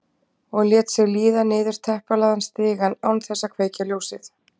Og lét sig líða niður teppalagðan stigann án þess að kveikja ljósið.